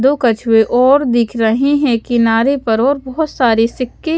दो कछुवे और दिख रहे है किनारे पर और बहुत सारे सिक्के --